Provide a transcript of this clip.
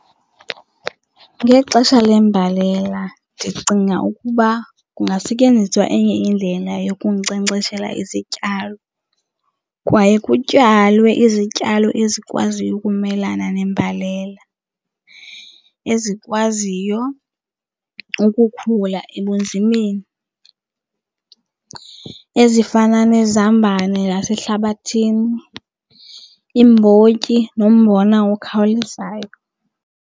Ngexesha lembalela ndicinga ukuba kungasetyenziswa enye indlela yokunkcenkceshela izityalo. Kwaye kutyalwe izityalo ezikwaziyo ukumelana nembalela, ezikwaziyo ukukhula ebunzimeni, ezifana nezambane lasehlabathini, iimbotyi nombona okhawulezayo.